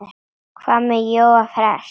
Hvað með Jóa fress?